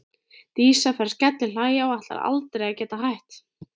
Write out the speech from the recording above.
Dísa fer að skellihlæja og ætlar aldrei að geta hætt.